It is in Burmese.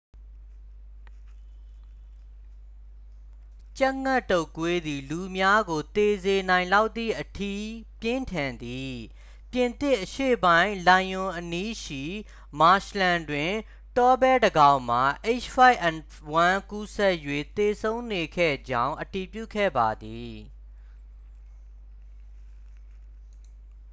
ကြက်ငှက်တုပ်ကွေးသည် လူများကို သေစေနိုင်လောက်သည်အထိ ပြင်းထန်သည်၊ ပြင်သစ်အရှေ့ပိုင်း လိုင်ယွင်အနီးရှိ မာရှ်လန်းတွင် တောဘဲတစ်ကောင်မှာ h၅n၁ ကူးစက်၍ သေဆုံးနေခဲ့ကြောင်း အတည်ပြုခဲ့ပါသည်။